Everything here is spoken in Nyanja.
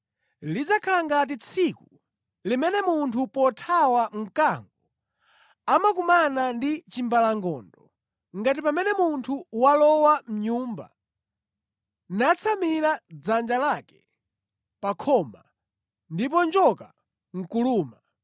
Lidzakhala ngati tsiku limene munthu pothawa mkango amakumana ndi chimbalangondo, ngati pamene munthu walowa mʼnyumba, natsamira dzanja lake pa khoma ndipo njoka nʼkuluma.